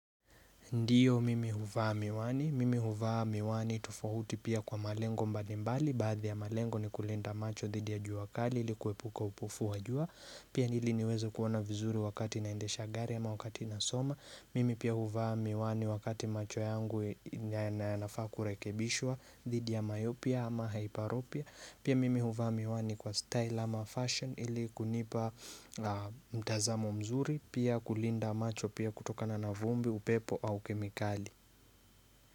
Ndiyo mimi huvaa miwani, mimi huvaa miwani tofauti pia kwa malengo mbalimbali, baadhi ya malengo ni kulinda macho dhidi ya juakali ili kuepuka upofu wajua, pia ili niweze kuona vizuri wakati naende shagari ama wakati na soma, mimi pia huvaa miwani wakati macho yangu na yanafaa kurekebishwa dhidi ya mayopia ama haiparopia Pia mimi huvaa miwani kwa style ama fashion ili kunipa mtazamo mzuri Pia kulinda macho pia kutoka na navumbi, upepo au kemikali.